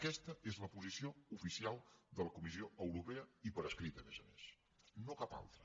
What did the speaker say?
aquesta és la posició oficial de la comissió europea i per escrit a més a més no cap altra